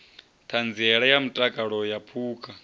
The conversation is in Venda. ṱhanziela ya mutakalo wa phukha